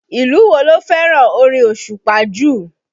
Ìlú wo ló fẹ́ràn orin osupa jù?